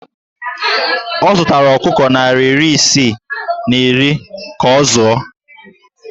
Ọ zụtara ọkụkọ narị isii na iri ka ọ zụọ